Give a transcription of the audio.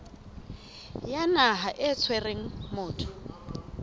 ya naha e tshwereng motho